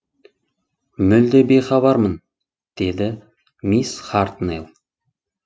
мүлде бейхабармын деді мисс хартнелл